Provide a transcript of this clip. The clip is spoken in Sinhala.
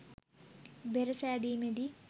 බෙර සෑදීමෙදී